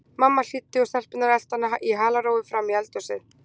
Mamma hlýddi og stelpurnar eltu hana í halarófu fram í eldhúsið.